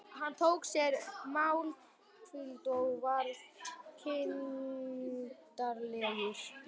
Hann tók sér málhvíld og varð kindarlegur.